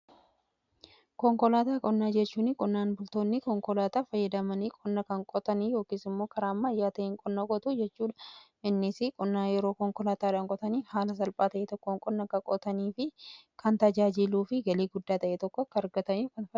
Konkolaataa qonnaa jechuun qonnaan bultoonni konkolaataa fayyadamanii qonna kan qotanii yookiis immoo karaa ammaayyaa ta'een qonna qotuu jechuudha. Innisi qonnaan yeroo konkolaataadhaan qotanii haala salphaa ta'e tokkoon qonna kan qotanii fi kan tajaajiluu fi galii guddaa ta'e tokko kan itti argatanidha.